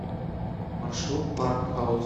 маршрут парк хаус